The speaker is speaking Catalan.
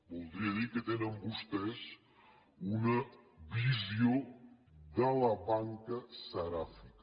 voldria dir que tenen vostès una visió de la banca seràfica